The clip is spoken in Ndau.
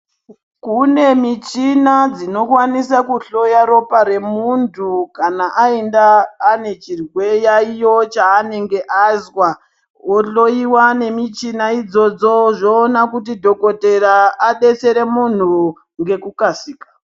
Kune michina dzinokwanisa kuhloya ropa remuntu kana aenda ane chirwe.. chiyaiyo chaanenge azwa, ohloyiwa nemichina idzodzo zvoona kuti dhokotera abetsere munhu ngekukasika.